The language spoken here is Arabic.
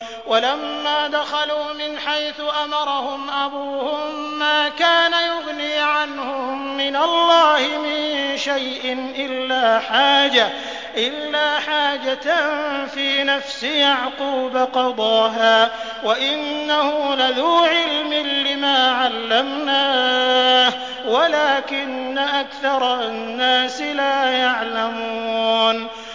وَلَمَّا دَخَلُوا مِنْ حَيْثُ أَمَرَهُمْ أَبُوهُم مَّا كَانَ يُغْنِي عَنْهُم مِّنَ اللَّهِ مِن شَيْءٍ إِلَّا حَاجَةً فِي نَفْسِ يَعْقُوبَ قَضَاهَا ۚ وَإِنَّهُ لَذُو عِلْمٍ لِّمَا عَلَّمْنَاهُ وَلَٰكِنَّ أَكْثَرَ النَّاسِ لَا يَعْلَمُونَ